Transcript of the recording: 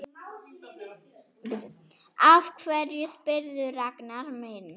Af hverju spyrðu, Ragnar minn?